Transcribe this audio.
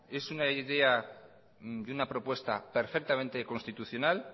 es una idea de una propuesta perfectamente constitucional